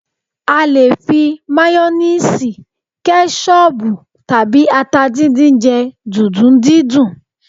A lè fi mayoníìsì, kẹ́ṣọbù tàbí ata dídín jẹ́ dùndún dídín